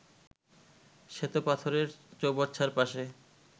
শ্বেতপাথরের চৌবাচ্চার পাশে